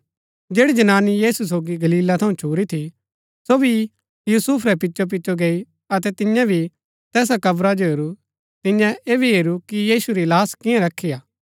जैड़ी जनानी यीशु सोगी गलीला थऊँ छुरी थी सो भी यूसुफ रै पिचोपिचो गैई अतै तियें भी तैसा कब्रा जो हेरू तियें ऐह भी हेरू कि यीशु री लाहश कियां रखी हा